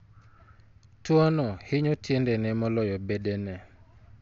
Tuwono hinyo tiendene moloyo bedene.